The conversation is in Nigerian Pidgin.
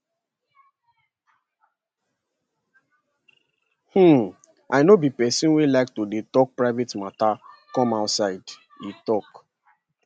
um i no be pesin wey like to dey tok private mata come outside e tok